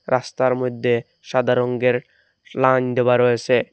রাস্তার মইদ্যে সাদা রঙের লাইন দেওয়া রয়েসে।